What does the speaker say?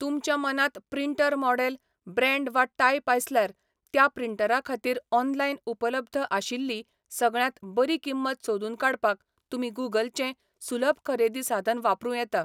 तुमच्या मनांत printer model, brand वा टायप आसल्यार, त्या प्रिंटरा खातीर ऑनलायन उपलब्ध आशिल्ली सगळ्यांत बरी किंमत सोदून काडपाक तुमी गुंगल चें सुलभ खरेदी साधन वापरूं येता.